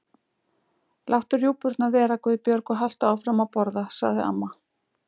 Láttu rjúpurnar vera, Guðbjörg, og haltu áfram að borða sagði amma.